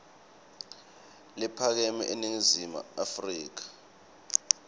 lephakeme eningizimu afrika